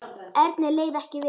Erni leið ekki vel.